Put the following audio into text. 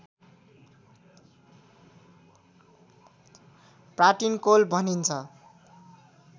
pratincole भनिन्छ